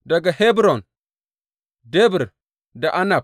Daga Hebron, Debir da Anab.